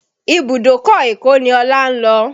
Ibùdókọ̀ Èkó ni Ọlá ń lọ.